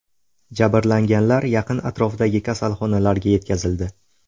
Jabrlanganlar yaqin atrofdagi kasalxonalarga yetkazildi.